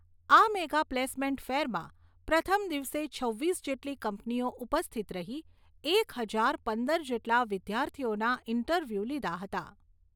આ mega placement ફેરમાં પ્રથમ દિવસે છવ્વીસ જેટલી કંપનીઓ ઉપસ્થિત રહી એક હજાર પંદર જેટલા વિદ્યાર્થીઓના ઇન્ટરવ્યુ લીધા હતા.